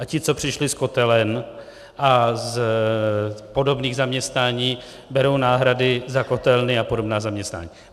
A ti, co přišli z kotelen a z podobných zaměstnání, berou náhrady za kotelny a podobná zaměstnání.